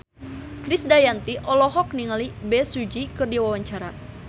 Krisdayanti olohok ningali Bae Su Ji keur diwawancara